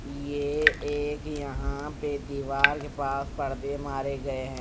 ये एक यहां पे दीवार के पास पर्दे मारे गए हैं।